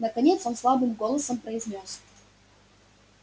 наконец он слабым голосом произнёс